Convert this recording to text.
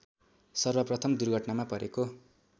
सर्वप्रथम दुर्घटनामा परेको